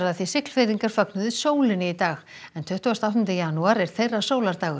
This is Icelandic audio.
Siglfirðingar fögnuðu sólinni í dag en tuttugasta og áttunda janúar er þeirra